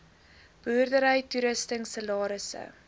boerdery toerusting salarisse